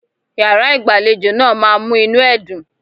Yàrá-ìgbàlejò náà ma mú inú ẹ dùn.